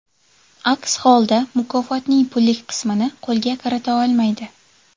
Aks holda, mukofotning pullik qismini qo‘lga kirita olmaydi.